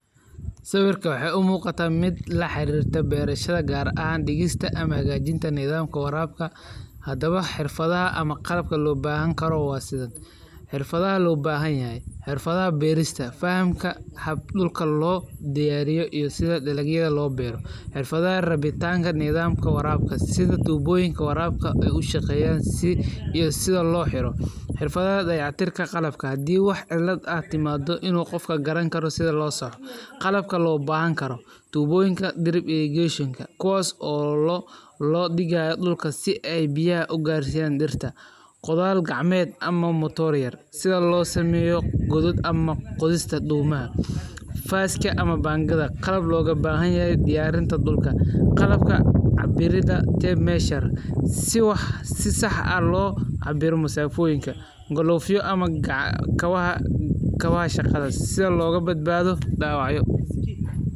Sawirka waxay u muquta mid laharirto beerashada gaar ahaan digista ama hagajinta nidhamka waarabka. Hadawaba xirfadhaha ama qalabka loo bahan kara wa sidhan; xirfadaha loo bahanyahay, xirfadaha beerista fahamka habka dulka loo diyariyo iyo sidha dalagyadha loo beero, xirfadaha rabitanka nidhamko warabka sidha tuboyinka warabka o ay shaqeyan si iyo sidha loo xiro, xirfadaha dayac tirka qalabka hadii wax cilid timado waa in qofka garan karo sidha loo sax. Qalbka loo bahan karo; tuboyinka dirig iyo geesha kuwaso loo digayo dulka si ay biyaha ugarsiyan dirta, qothal gacameed ama matoor yar sidha lo sameyo gudad ama goodhista doomaha, faaska ama bangada qalaab looga bahanyahy diyarinta dulka, qalabka cabirada tape measure si saax oo lo cabiro musafoyinka, glove ya ama kawaha shagadha sidha loga badbadho dawacyo.